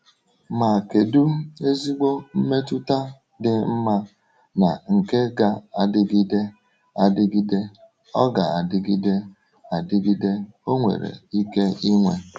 Ma kedu ezigbo mmetụta dị mma na nke ga-adịgide adịgide ọ ga-adịgide adịgide ọ nwere ike inwe!